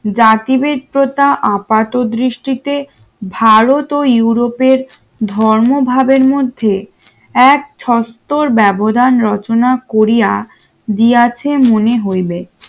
জাতিবিদ্যতা আপাতদৃষ্টিতে ভারত ও ইউরোপের ধর্ম ভাবের মধ্যে এক ছত্তর ব্যবধান রচনা করিয়া দিয়াছে মনে হইবে